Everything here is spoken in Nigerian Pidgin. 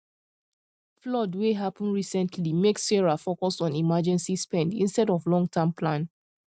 flood wey happen recently make sarah focus on emergency spend instead of longterm plan